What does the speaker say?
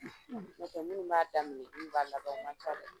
N'o tɛ minnu b'a daminɛ ani minnu b'a laban o ma ca dɛ